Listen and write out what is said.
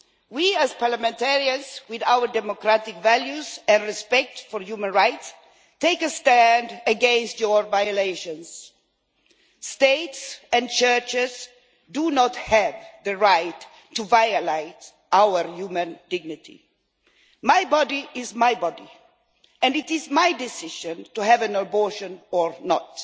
We, as parliamentarians, with our democratic values and respect for human rights, take a stand against your violations. States and churches do not have the right to violate our human dignity. My body is my body and it is my decision whether to have an abortion or not.